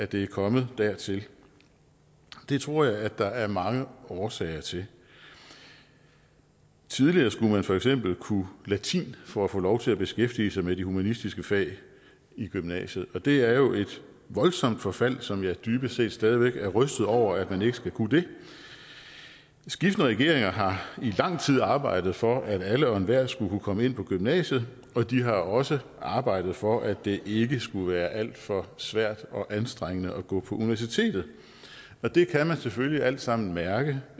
det er kommet dertil det tror jeg der er mange årsager til tidligere skulle man for eksempel kunne latin for at få lov til at beskæftige sig med de humanistiske fag i gymnasiet og det er jo et voldsomt forfald som jeg dybest set stadig væk er rystet over altså at man ikke skal kunne det skiftende regeringer har i lang tid arbejdet for at alle og enhver skulle kunne komme ind på gymnasiet og de har også arbejdet for at det ikke skulle være alt for svært og anstrengende at gå på universitetet og det kan man selvfølgelig alt sammen mærke